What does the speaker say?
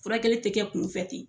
Furakɛli tɛ kɛ kunfɛ ten.